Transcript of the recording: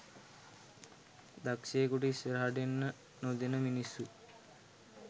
දක්ෂයෙකුට ඉස්සරහට එන්න නොදෙන මිනිස්සු.